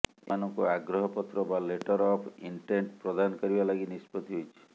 ଏମାନଙ୍କୁ ଆଗ୍ରହ ପତ୍ର ବା ଲେଟର ଅଫ୍ ଇଣ୍ଟେଣ୍ଟ ପ୍ରଦାନ କରିବା ଲାଗି ନିଷ୍ପତ୍ତି ହୋଇଛି